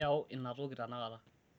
iyau inatoki tenakata